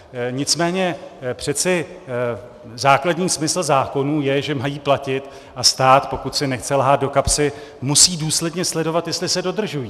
Nicméně přeci základní smysl zákonů je, že mají platit, a stát, pokud si nechce lhát do kapsy, musí důsledně sledovat, jestli se dodržují.